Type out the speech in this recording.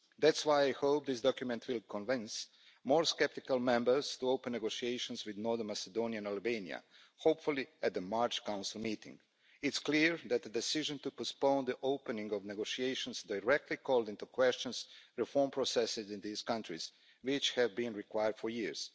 That's why I hope this document will convince more sceptical Members to open negotiations with North Macedonia and Albania, hopefully at the March Council meeting. It's clear that the decision to postpone the opening of negotiations directly called into question reform processes in these countries, which have been required for years.